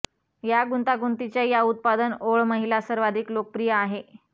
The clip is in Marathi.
या गुंतागुंतीच्या या उत्पादन ओळ महिला सर्वाधिक लोकप्रिय आहे